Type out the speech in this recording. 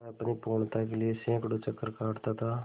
वह अपनी पूर्णता के लिए सैंकड़ों चक्कर काटता था